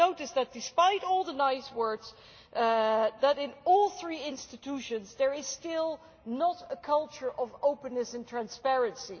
I notice that, despite all the nice words, in all three institutions there is still not a culture of openness and transparency.